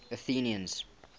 athenians